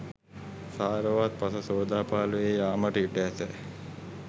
සාරවත් පස සෝදා පාළු වී යාමට ඉඩ ඇත.